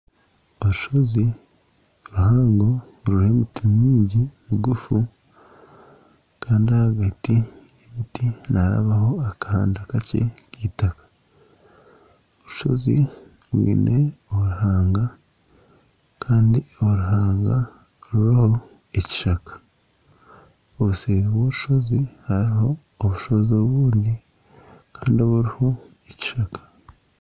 Orushozi ruhango ruriho emiti mingi migufu. Kandi aha biti, ebiti niharabaho akahanda kakye k'eitaka. Orushozi rwine oruhanga kandi oruhanga ruriro ekishaka. Obuseeri bw'orushozi hariho orushozi orundi, kandi ruriho ekishaka.